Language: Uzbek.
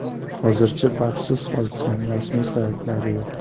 Hozircha baxtsiz hodisaning rasmiy sabablari yo‘q.